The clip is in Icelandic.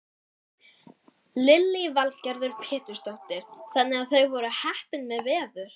Lillý Valgerður Pétursdóttir: Þannig að þau voru heppin með veður?